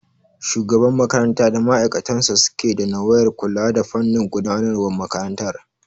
Shugaban makaranta da ma'aikatansa suke da nawayar kula da fannin gudanar wan makarantar